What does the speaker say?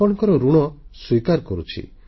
ଆପଣଙ୍କ ଋଣ ସ୍ୱୀକାର କରୁଛି